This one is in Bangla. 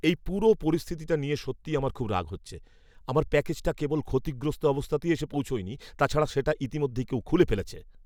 এই পুরো পরিস্থিতিটা নিয়ে সত্যিই আমার খুব রাগ হচ্ছে । আমার প্যাকেজটা কেবল ক্ষতিগ্রস্ত অবস্থাতেই এসে পৌঁছয়নি, তাছাড়াও সেটা ইতিমধ্যেই কেউ খুলে ফেলেছে!